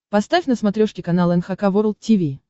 поставь на смотрешке канал эн эйч кей волд ти ви